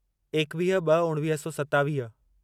एकवीह ब॒ उणिवीह सौ सतावीह